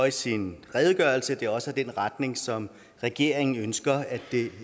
i sin redegørelse at det også er den retning som regeringen ønsker det